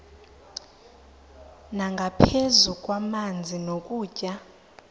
nangaphezu kwamanzi nokutya